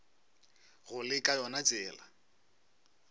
go le ka yona tsela